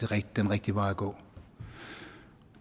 den rigtige vej at gå